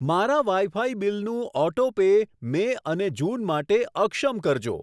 મારા વાઈફાઈ બીલનું auto pay May અને જૂન માટે અક્ષમ કરજો.